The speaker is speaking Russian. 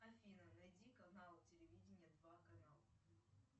афина найди канал телевидения два канал